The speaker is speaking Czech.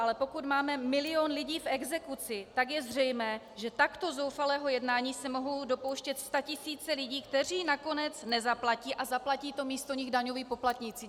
Ale pokud máme milion lidí v exekuci, tak je zřejmé, že takto zoufalého jednání se mohou dopouštět statisíce lidí, kteří nakonec nezaplatí, a zaplatí to místo nich daňoví poplatníci.